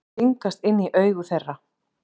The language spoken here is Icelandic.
Stingast inn í augu þeirra.